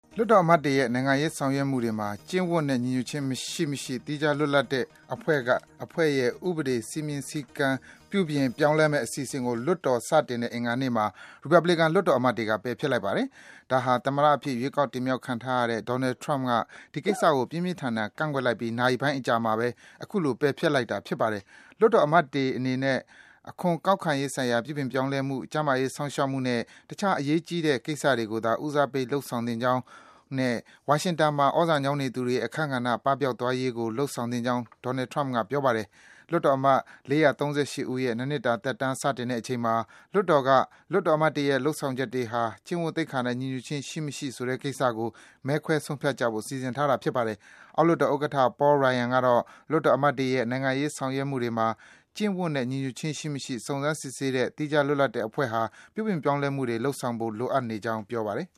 လွှတ်တော်အမတ်တွေရဲ့ နိုင်ငံရေးဆောင်ရွက်မှုတွေမှာ ကျင့်ဝတ်နဲ့ ညီညွတ်ခြင်း ရှိ မရှိ စုံစမ်းတဲ့ သီးခြားလွတ်လပ်တဲ့အဖွဲ့ရဲ့ လုပ်ပိုင်ခွင့်တွေကို ပြောင်းလဲ ကန့်သတ်မယ့် အစီအစဉ်ကို လွှတ်တော် စတင်တဲ့ အင်္ဂါနေ့မှာ ရီပတ်ဘလစ်ကန် လွှတ်တော်အမတ်တွေက ပယ်ဖျက်လိုက်ပါတယ်။ ဒါဟာ သမ္မတအဖြစ် ရွေးကောက်တင်မြှောက်ခံထားရတဲ့ Donald Trump ဒီကိစ္စကို ပြင်းပြန်းထန်ထန် ကန့်ကွက်လိုက်ပြီး နာရီပိုင်း အကြာမှာပဲ အခုလို ပယ်ဖျက်လိုက်တာလည်း ဖြစ်ပါတယ်။ လွှတ်တော်အမတ်တွေအနေနဲ့ အခွန်ကောက်ခံရေးဆိုင်ရာ ပြုပြင်ပြောင်းလဲမှု၊ ကျန်းမာရေး စောင့်ရှောက်မှုနဲ့ တခြားအရေးကြီးတဲ့ ကိစ္စတွေကိုသာ ဦးစားပေး လုပ်ဆောင်သင့်ကြောင်းနဲ့ ဝါရှင်တန်မှာ သြဇာညောင်းနေသူတွေရဲ့ အခန်းကဏ္ဍ ပပျောက်သွားရေးကို လုပ်ဆောင်သင့်ကြောင်း Trump က ပြောပါတယ်။ လွှတ်တော်အမတ် ၄၃၈ ဦးရဲ့ ၂ နှစ်တာ သက်တမ်း စတင်တဲ့အချိန်မှာ လွှတ်တော်က လွှတ်တော်အမတ်တွေရဲ့ လုပ်ဆောင်ချက်တွေဟာ ကျင့်ဝတ်သိက္ခာနဲ့ ညီညွတ်ခြင်း ရှိ မရှိဆိုတဲ့ ကိစ္စကို မဲခွဲဆုံးဖြတ်ကြဖို့ စီစဉ်ထားတာ ဖြစ်ပါတယ်။ အောက်လွှတ်တော်ဥက္ကဋ္ဌ Paul Ryan ကတော့ လွှတ်တော်အမတ်တွေရဲ့ နိုင်ငံရေးဆောင်ရွက်မှုတွေမှာ ကျင့်ဝတ်နဲ့ ညီညွတ်ခြင်း ရှိ မရှိ စုံစမ်း စစ်ဆေးတဲ့ သီးခြား လွတ်လပ်တဲ့အဖွဲ့ဟာ ပြုပြင် ပြောင်းလဲမှုတွေ လုပ်ဆောင်ဖို့ လိုအပ်နေကြောင်း ပြောပါတယ်